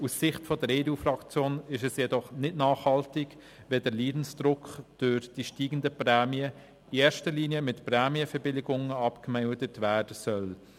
Aus Sicht der EDU-Fraktion ist es jedoch nicht nachhaltig, wenn der Leidensdruck durch die steigenden Prämien in erster Linie mit Prämienverbilligungen abgemildert werden soll.